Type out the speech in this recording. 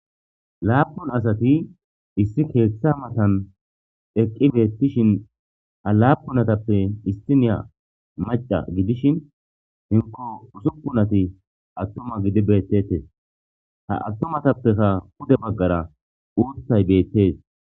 Lappun asati issi keththa mattan eqqi bettishin ha lappun assatappe issiniya macca giidishin heenko ussupunati atuma giidi bettetes ha attumatappeka puude baggara uuththay bettes.